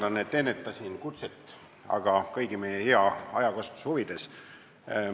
Vabandust, et ennetasin kutset, aga seda ikka meie kõigi hea ajakasutuse huvides!